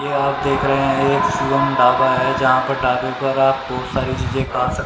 यह आप देख रहे हैं एक सुबम डाबा है यहाँ पर डाबे पर आप बहुत सारी चीजें खा सक--